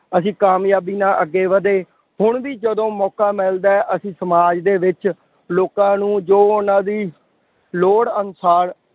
ਅਸੀਂ ਕਾਮਯਾਬੀ ਨਾਲ ਅੱਗੇ ਵਧੇ। ਹੁਣ ਵੀ ਜਦੋਂ ਮੌਕਾ ਮਿਲਦਾ ਹੈ। ਅਸੀਂ ਸਮਾਜ ਦੇ ਵਿੱਚ ਲੋਕਾਂ ਨੂੰ ਜੋ ਉਹਨਾ ਦੀ ਲੋੜ ਅਨੁਸਾਰ